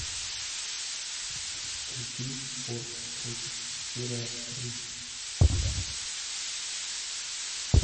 включи форд против феррари